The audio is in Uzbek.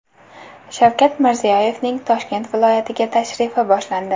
Shavkat Mirziyoyevning Toshkent viloyatiga tashrifi boshlandi.